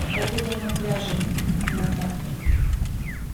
погода на пляже на завтра